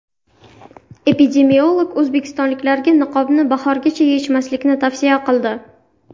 Epidemiolog o‘zbekistonliklarga niqobni bahorgacha yechmaslikni tavsiya qildi.